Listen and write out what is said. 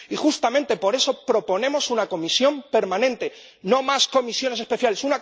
Y justamente por eso proponemos una comisión permanente, no más comisiones especiales.